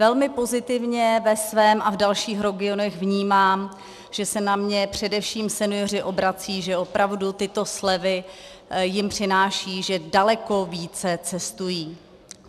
Velmi pozitivně ve svém a v dalších regionech vnímám, že se na mě především senioři obracejí, že opravdu tyto slevy jim přinášejí, že daleko více cestují.